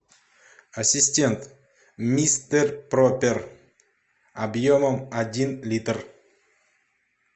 ассистент мистер пропер объемом один литр